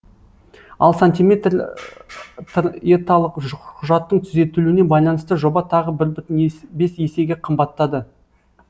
ал сантиметр еталық құжаттың түзетілуіне байланысты жоба тағы бір бес есеге қымбаттады